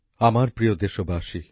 নতুনদিল্লি ২৪শে এপ্রিল ২০২২